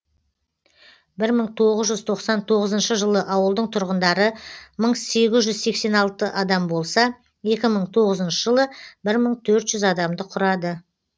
бір мың тоғыз жүз тоқсан тоғызыншы жылы ауылдың тұрғындары мың сегіз жүз сексен алты адам болса екі мың тоғызыншы жылы бір мың төрт жүз адамды құрады